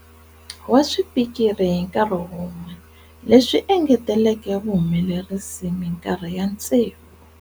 Wa swipikiri hi nkarhi wun'we, leswi engeteleke vuhumelerisi minkarhi ya tsevu.